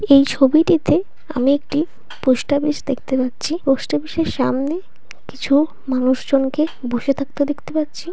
এই ছবিটিতে আমি একটি পোস্টা দেখতে পাচ্ছি। পোস্ট পিস এর সামনে কিছু মানুষ জন কে বসে থাকতে দেখতে পাচ্ছি।